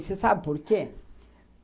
Você sabe por quê?